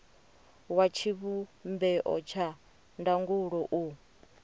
wa tshivhumbeo tsha ndangulo u